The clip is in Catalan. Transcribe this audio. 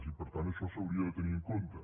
i per tant això s’hauria de tenir en compte